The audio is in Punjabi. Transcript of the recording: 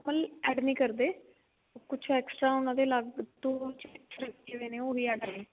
ਕੋਈ add ਨੀ ਕਰਦੇ ਕੁਛ extra ਉਹਨਾ ਦੇ ਲੱਗ ਤੋਂ ਹੋਏ ਨੇ ਉਹੀ add ਨੇ